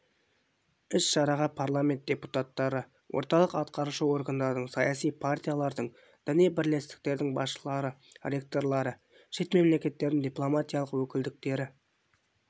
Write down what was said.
іс-шараға парламент депутаттары орталық атқарушы органдардың саяси партиялардың діни бірлестіктердің басшылары ректорлары шет мемлекеттердің дипломатиялық өкілдіктері